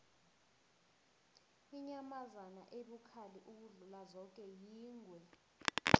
inyamazana ebukhali ukudlula zoke yingwe